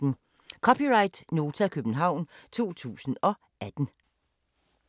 (c) Nota, København 2018